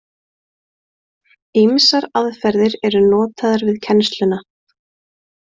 Ýmsar aðferðir eru notaðar við kennsluna.